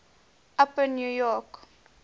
upper new york